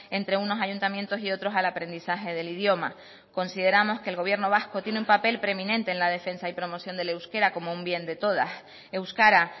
entre unos ayuntamientos y otros al aprendizaje del idioma consideramos que el gobierno vasco tiene un papel preeminente en la defensa y promoción del euskera como un bien de todas euskara